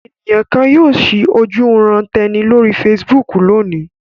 Àwọn ènìyàn kan yóò ṣí ojúuran-tẹni lórí Facebook lónìí.